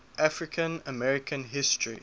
african american history